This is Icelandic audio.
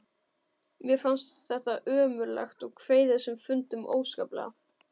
Mér fannst þetta ömurlegt og kveið þessum fundum óskaplega.